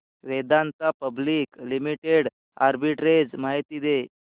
Vedanta public limited arbitrage माहिती दे